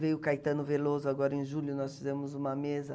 Veio o Caetano Veloso agora em julho, nós fizemos uma mesa.